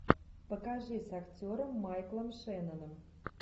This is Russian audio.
покажи с актером майклом шенноном